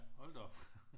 Hold da op